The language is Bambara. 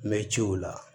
N mɛ ciw la